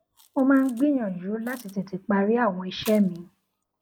mo máa ń gbìyànjú láti tètè parí àwọn iṣé mi